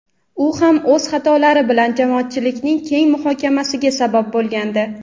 U ham o‘z xatolari bilan jamoatchilikning keng muhokamasiga sabab bo‘lgandi.